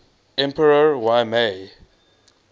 emperor y mei